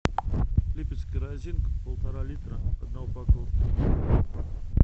липецкая росинка полтора литра одна упаковка